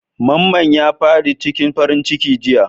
Mamman ya fad'i cikin farin ciki jiya.